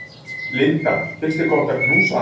Linda: Finnst þér gott að knúsa hann?